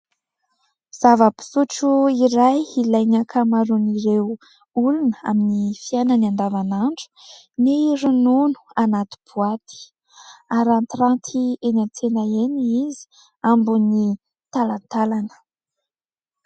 Zava-pisotro iray ilainy ankamaroan'ireo olona amin'ny fiainany andavanandro : ny ronono anaty boaty, arantiranty eny an-tsena eny izy, ambony talantalana.